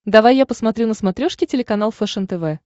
давай я посмотрю на смотрешке телеканал фэшен тв